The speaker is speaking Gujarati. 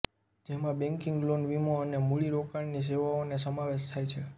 જેમાં બેંકિંગ લોન વીમો અને મૂડીરોકાણની સેવાઓનો સમાવેશ થાય છે